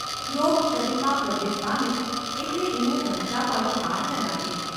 રોગ શરીરમાં પ્રવેશ પામે એટલે એને વધતાં પણ વાર ન લાગે.